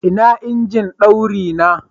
Ina injin daurina?